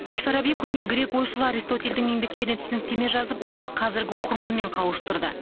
әл фараби көне грек ойшылы аристотельдің еңбектеріне түсініктеме жазып оны қазіргі оқырманмен қауыштырды